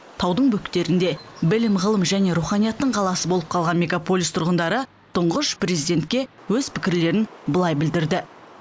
таудың бөктерінде білім ғылым және руханияттың қаласы болып қалған мегаполис тұрғындары тұңғыш президентке өз пікірлерін былай білдірді